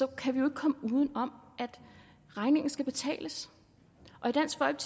kan komme uden om at regningen skal betales